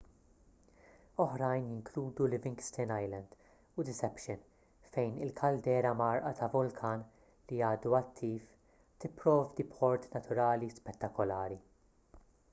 oħrajn jinkludu livingston island u deception fejn il-kaldera mgħarrqa ta' vulkan li għadu attiv tipprovdi port naturali spettakolari